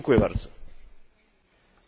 Selbstverständlich ist das so.